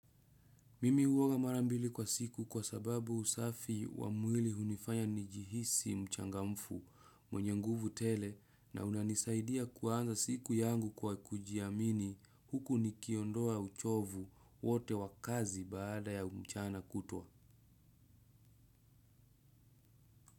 Mimi huoga mara mbili kwa siku kwa sababu usafi wa mwili hunifanya nijihisi mchangamfu mwenye nguvu tele na hunanisaidia kuanza siku yangu kwa kujiamini huku nikiondoa uchovu wote wa kazi baada ya mchana kutwa.